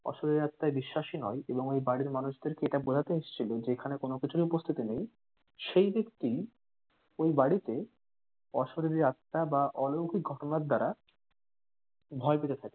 অশরিরি আত্মায় বিশ্বাসী নন এবং ওই বাড়ির মানুষদেরকে এটা বোঝাতে এসেছিলো যে এখানে কোনোকিছুই উপস্থিতি নেই. সেই ব্যাক্তিই ওই বাড়িতে অশরিরি আত্মা বা অলৌকিক ঘটনার দ্বারা ভয় পেতে থাকে